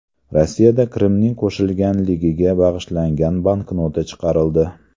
Rossiyada Qrimning qo‘shilganligiga bag‘ishlangan banknota chiqarildi.